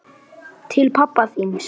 Til pabba þíns.